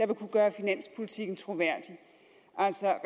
vil kunne gøre finanspolitikken troværdig altså